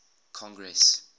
congress